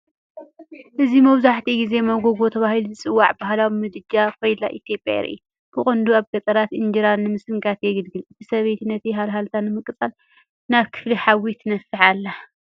እዚ መብዛሕትኡ ግዜ ሞጎጎ ተባሂሉ ዝጽዋዕ ባህላዊ ምድጃ ካይላ ኢትዮጵያ የርኢ። ብቐንዱ ኣብ ገጠራት ኢንጀራ ንምስንካት የገልግል። እታ ሰበይቲ ነቲ ሃልሃልታ ንምቅፃል ናብ ክፍሊ ሓዊ ትነፍሕ ኣላ።